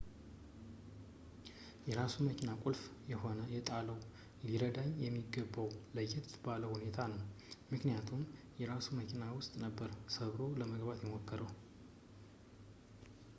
የራሱን የመኪና ቁልፍ ከሆነ የጣለው ሊዳኝ የሚገባው ለየት ባለ ሁኔታ ነው ምክንያቱም የራሱ መኪና ውስጥ ነበር ሰብሮ ለመግባት የሞከረው